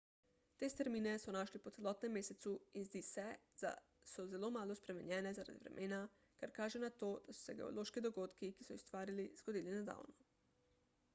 te strmine so našli po celotnem mesecu in zdi se za so zelo malo spremenjene zaradi vremena kar kaže na to da so se geološki dogodki ki so jih ustvarili zgodili nedavno